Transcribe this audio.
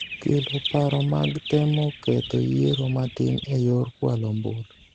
kelo paro mag temo ketho yiero matin e yor kwalo ombulu.